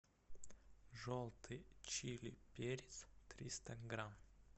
желтый чили перец триста грамм